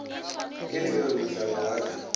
ke lebelo mohlaba wa re